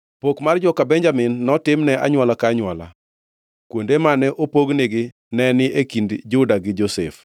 Pok mar joka Benjamin, notimne anywola ka anywola. Kuonde mane opognigo ne ni e kind Juda gi Josef.